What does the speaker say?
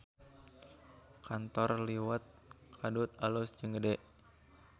Kantor Liwet Kadut alus jeung gede